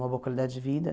Uma boa qualidade de vida.